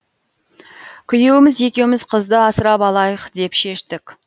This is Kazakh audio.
күйеуіміз екеуміз қызды асырап алайық деп шештік